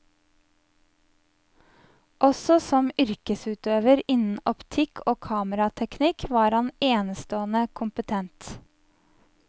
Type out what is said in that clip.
Også som yrkesutøver innen optikk og kamerateknikk var han enestående kompetent.